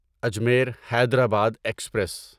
Ajmer Hyderabad express